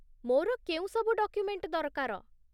ମୋର କେଉଁ ସବୁ ଡକ୍ୟୁମେଣ୍ଟ ଦରକାର?